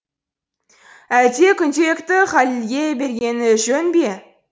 әлде күнделікті халилге бергені жөн бе